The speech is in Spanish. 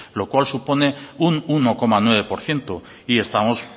lo cual supone un uno coma nueve por ciento y estamos